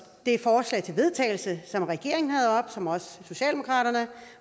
det forslag til vedtagelse som regeringen havde oppe og som også socialdemokraterne